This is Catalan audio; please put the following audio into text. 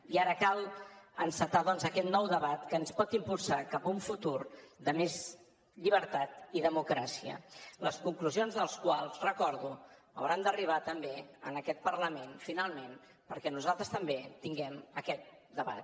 i ara cal encetar doncs aquest nou debat que ens pot impulsar cap a un futur de més llibertat i democràcia les conclusions del qual ho recordo hauran d’arribar també en aquest parlament finalment perquè nosaltres també tinguem aquest debat